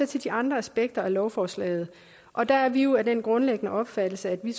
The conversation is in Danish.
til de andre aspekter af lovforslaget og der er vi jo af den grundlæggende opfattelse at vi